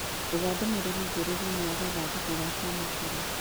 etha ndũmĩrĩri njerũ thĩinĩ wa gathandũkũ ga kwamũkĩra